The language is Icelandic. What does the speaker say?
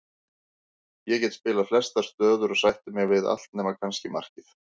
Ég get spilað flestar stöður og sætti mig við allt nema kannski markið.